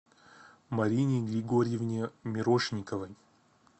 марине григорьевне мирошниковой